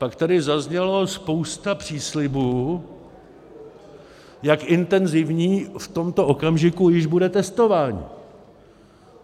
Pak tady zazněla spousta příslibů, jak intenzivní v tomto okamžiku již bude testování.